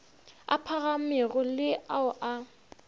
a phagamego le ao a